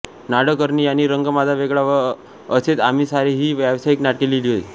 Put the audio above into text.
नाडकर्णी यांनी रंग माझा वेगळा व असेच आम्ही सारे ही व्यावसायिक नाटके लिहिली आहेत